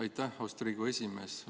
Aitäh, austatud Riigikogu esimees!